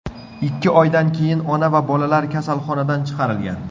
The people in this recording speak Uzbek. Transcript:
Ikki oydan keyin ona va bolalar kasalxonadan chiqarilgan.